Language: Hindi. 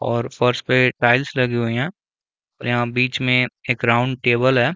और फर्श पे टाइल्स लगी हुईं हैं और यहाँ बीच में एक राउंड टेबल है।